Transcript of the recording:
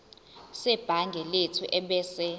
sebhangi lethu ebese